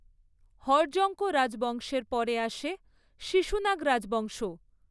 হর্যঙ্ক রাজবংশের পরে আসে শিশুনাগ রাজবংশ।